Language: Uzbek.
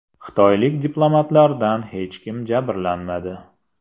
Xitoylik diplomatlardan hech kim jabrlanmadi.